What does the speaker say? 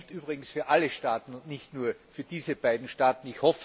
Das gilt übrigens für alle Staaten und nicht nur für diese beiden Staaten.